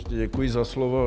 Děkuji za slovo.